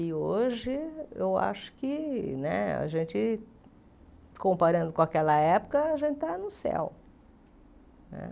E hoje, eu acho que né a gente, comparando com aquela época, a gente está no céu né.